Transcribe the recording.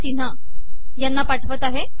सिन्हा यांना पाठवत आहे